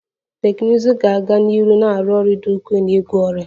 Teknụzụ ga-aga n'ihu na-arụ ọrụ dị ukwuu n'ịgwọ ọrịa